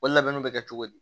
O labɛnniw bɛ kɛ cogo di